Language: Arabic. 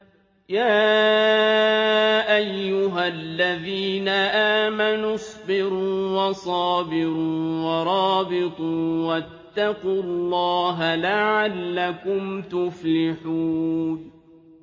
يَا أَيُّهَا الَّذِينَ آمَنُوا اصْبِرُوا وَصَابِرُوا وَرَابِطُوا وَاتَّقُوا اللَّهَ لَعَلَّكُمْ تُفْلِحُونَ